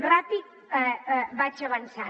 ràpid vaig avançant